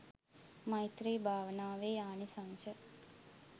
මෛත්‍රී භාවනාවේ ආනිසංශ